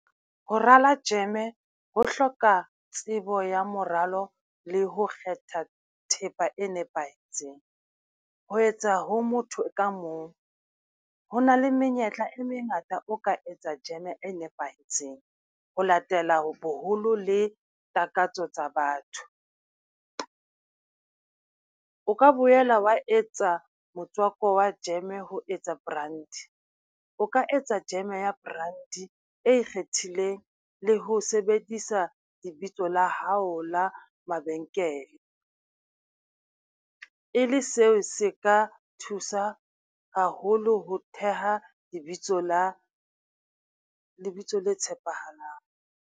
Ho rala jeme e ho hloka tsebo ya moralo le ho kgetha thepa e nepahetseng. Ho etsa ho motho ka mong, ho na le menyetla e mengata o ka etsa jeme e nepahetseng, ho latela boholo le takatso tsa batho. O ka boela wa etsa motswako wa jeme ho etsa brandy, o ka etsa jeme ya brandy e ikgethileng le ho sebedisa lebitso la hao la mabenkele. E le seo se ka thusa haholo ho theha lebitso le tshepahalang.